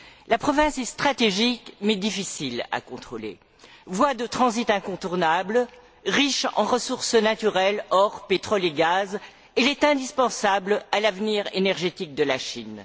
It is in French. La province est stratégique mais difficile à contrôler. Voie de transit incontournable, riche en ressources naturelles elle est indispensable à l'avenir énergétique de la Chine.